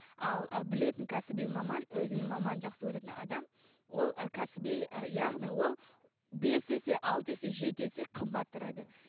ал ы білетін кәсіби маман өзінің мамандығын жақсы көретін маман ол ы кісіби ы яғни ол бес есе алты есе жеті есе қымбат тұрады